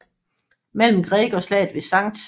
Mellem Gregg og slaget ved St